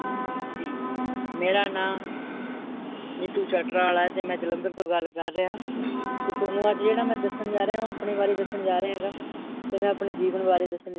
ਹਾਂਜੀ, ਮੇਰਾ ਨਾ ਨੀਟੂ ਸਟਰਾਂ ਆਲਾ ਤੇ ਮੈ ਜਲੰਧਰ ਤੋਂ ਗੱਲ ਕਰ ਰਿਹਾ ਆ, ਤੇ ਥੋਨੁ ਅੱਜ ਜਿਹੜਾ ਮੈਂ ਦੱਸਣ ਜਾਂ ਰਿਹਾ, ਉਹ ਆਪਣੇ ਬਾਰੇ ਦੱਸਣ ਜਾ ਰਿਹਾ ਆ ਤੇ ਮੈ ਆਪਣੇ ਜੀਵਨ ਵਾਰੇ ਦੱਸਣ ਜਾ ਰਿਹਾ ਆ ਹੈ L